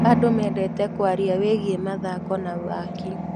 Andũ mendete kũaria wĩgiĩ mathako na waki.